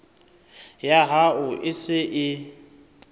ya hao e se e